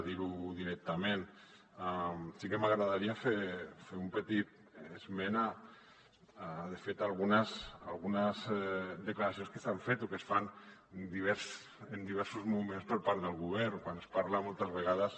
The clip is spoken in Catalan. dirho directament sí que m’agradaria fer un petit esment de fet d’algunes declaracions que s’han fet o que es fan en diversos moments per part del govern quan es parla moltes vegades